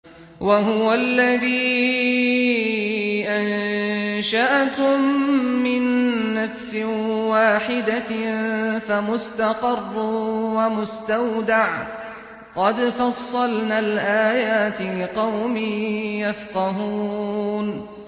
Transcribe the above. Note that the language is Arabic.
وَهُوَ الَّذِي أَنشَأَكُم مِّن نَّفْسٍ وَاحِدَةٍ فَمُسْتَقَرٌّ وَمُسْتَوْدَعٌ ۗ قَدْ فَصَّلْنَا الْآيَاتِ لِقَوْمٍ يَفْقَهُونَ